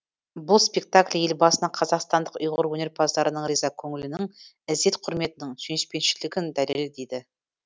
бұл спектакль елбасына қазақстандық ұйғыр өнерпаздарының риза көңілінің ізет құрметінің сүйіспеншілігінің дәлелі дейді